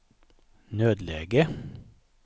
nödläge